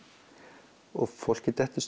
og fólki dettur